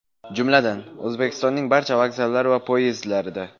Jumladan, O‘zbekistonning barcha vokzallari va poyezdlarida!